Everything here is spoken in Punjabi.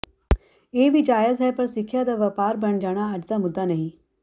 ਇਹ ਵੀ ਜਾਇਜ਼ ਹੈ ਪਰ ਸਿਖਿਆ ਦਾ ਵਪਾਰ ਬਣ ਜਾਣਾ ਅੱਜ ਦਾ ਮੁੱਦਾ ਨਹੀਂ